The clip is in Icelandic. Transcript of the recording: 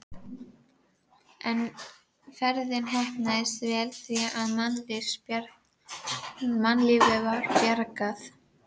En ferðin heppnaðist vel því að mannslífi var bjargað.